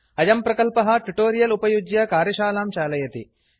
अयं प्रकल्पः ट्युटोरियल उपयुज्य कार्यशालां चालयति